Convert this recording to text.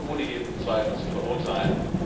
Er ist ohne jeden Zweifel zu verurteilen.